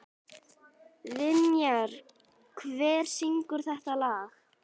Vinjar, hver syngur þetta lag?